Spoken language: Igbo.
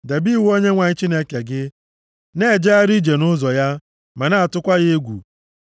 Debe iwu Onyenwe anyị Chineke gị. Na-ejegharị ije nʼụzọ ya, ma na-atụkwa ya egwu.